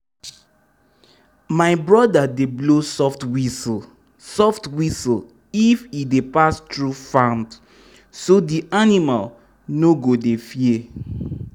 my brother dey blow soft whistle soft whistle if e dey pass through farms so d animals no go dey fear.